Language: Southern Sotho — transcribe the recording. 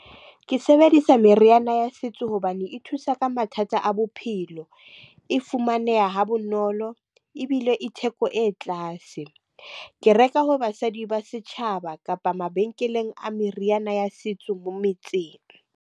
Ke sebedisa meriana ya setso hobane e thusa ka mathata a bophelo. E fumaneha ha bonolo, ebile e theko e tlase. Ke reka ho basadi ba setjhaba, kapa mabenkeleng a meriana ya setso mo metseng.